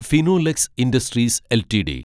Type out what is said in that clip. Finolex Industries LTD